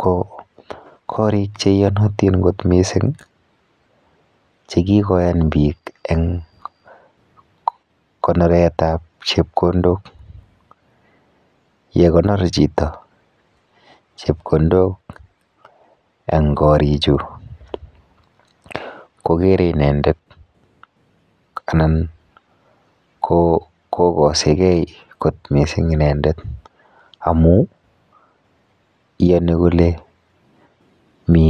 ko karik che iyanatin kot missing' che kikoyan piik eng' konoret ap chepkondok. Yekokonor chito chepkondok eng' karichu kokere inendet anan ko kasegei kot missing' inendet amu iyani kole mi